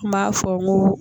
N m'a fɔ n ko